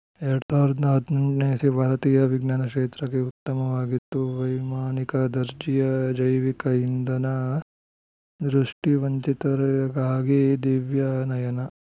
ಎರಡ್ ಸಾವಿರದ ಹದಿನೆಂಟು ನೇ ಇಸ್ವಿ ಭಾರತೀಯ ವಿಜ್ಞಾನ ಕ್ಷೇತ್ರಕ್ಕೆ ಉತ್ತಮವಾಗಿತ್ತು ವೈಮಾನಿಕ ದರ್ಜೆಯ ಜೈವಿಕ ಇಂಧನ ದೃಷ್ಟಿವಂಚಿತರಿಗಾಗಿ ದಿವ್ಯ ನಯನ